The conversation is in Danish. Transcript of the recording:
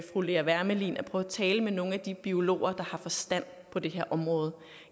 fru lea wermelin at prøve at tale med nogle af de biologer der har forstand på det her område